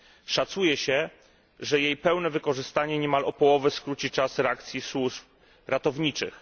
Szacuje się, że jej pełne wykorzystanie niemal o połowę skróci czas reakcji służ ratowniczych.